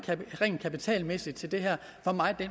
rent kapitalmæssigt til det her